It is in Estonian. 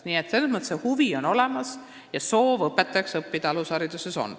Nii et selles mõttes on huvi ja soov alushariduse õpetajaks õppida olemas.